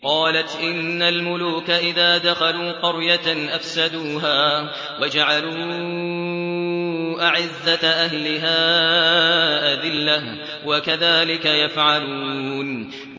قَالَتْ إِنَّ الْمُلُوكَ إِذَا دَخَلُوا قَرْيَةً أَفْسَدُوهَا وَجَعَلُوا أَعِزَّةَ أَهْلِهَا أَذِلَّةً ۖ وَكَذَٰلِكَ يَفْعَلُونَ